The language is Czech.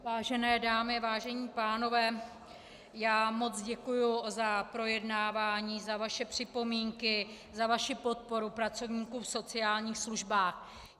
Vážené dámy, vážení pánové, já moc děkuji za projednávání, za vaše připomínky, za vaši podporu pracovníků v sociálních službách.